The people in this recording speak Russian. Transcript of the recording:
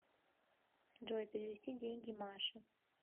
джой перевести деньги маше